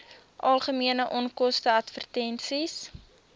algemene onkoste advertensies